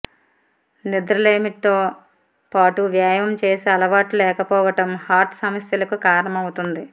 నిద్రలేమితో పాటు వ్యాయామం చేసే అలవాట్లు లేకపోవడం హార్ట్ సమస్యలకు కారమవుతుంది